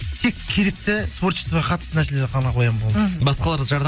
тек керекті творчестваға қатысты нәрселерді ғана қоямын болды мхм басқаларды